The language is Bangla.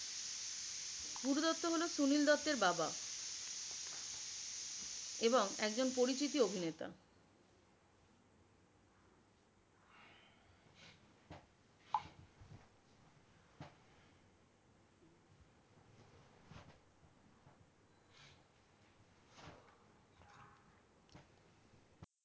গুরুদত্ত হল সুনীল দত্তের বাবা এবং একজন পরিচিতি অভিনেতা।